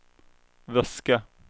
väska